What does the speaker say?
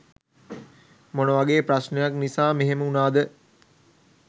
මොන වගේ ප්‍රශ්නයක් නිසා මෙහෙම වුණාද